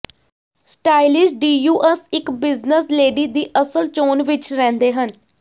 stylish ਡੀਯੂਅਸ ਇਕ business lady ਦੀ ਅਸਲ ਚੋਣ ਵਿੱਚ ਰਹਿੰਦੇ ਹਨ